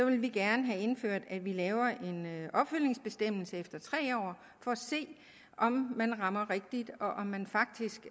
vi gerne have indført at vi laver en opfølgningsbestemmelse efter tre år for at se om man rammer rigtigt og om man faktisk